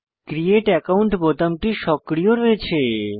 create account বোতামটি সক্রিয় রয়েছে